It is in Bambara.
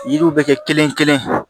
Yiriw bɛ kɛ kelen kelen